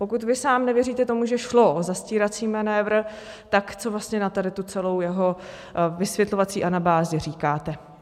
Pokud vy sám nevěříte tomu, že šlo o zastírací manévr, tak co vlastně na tady tu celou jeho vysvětlovací anabázi říkáte?